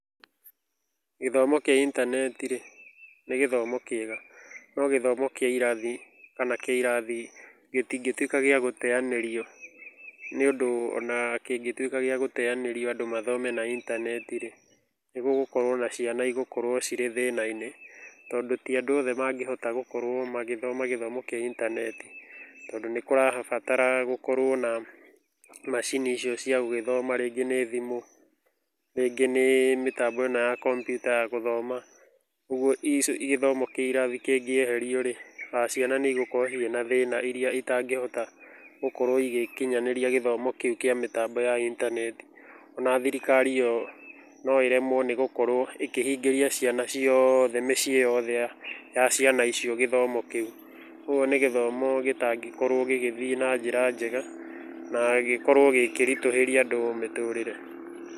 Gĩthomo kĩa intaneti rĩ, nĩ gĩthomo kĩega no gĩthomo kĩa irathi rĩ kana kĩa irathi gĩtingĩtuĩka gĩa gũteanĩrio, nĩ ũndũ ona kĩngĩtuĩka gĩa gũteanĩrio andũ mathome na intaneti rĩ, nĩ kũrĩ na ciana igũkorwo cirĩ thĩna-inĩ tondũ ti andũ othe mangĩhota gũkorwo magĩthoma gĩthomo kĩa intaneti, tondũ nĩ kũrabata gũkorwo na macini icio cia gũgĩthoma rĩngĩ nĩ thimũ, rĩngĩ nĩ mĩtambo ĩno ya komputa ya gũthoma ũguo gĩthomo kĩa irathi kĩngĩeherio rĩ ciana nĩ igũkorwo ciĩna thĩna iria itangĩhota gũkorwo igĩkinyanĩria gĩthomo kĩu kĩa mĩtambo ya intaneti. Ona thirikari yo no ĩremwo nĩ gũkorwo ĩkĩhingĩria ciana ciothe mĩciĩ yothe ya ciana icio gĩthomo kĩu, ũguo nĩ gĩthomo gĩtangĩkorwo gĩgĩthiĩ na njĩra njega na gĩkorwo gĩkĩritũhĩria andũ mĩtũrĩre.